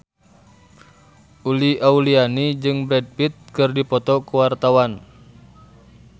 Uli Auliani jeung Brad Pitt keur dipoto ku wartawan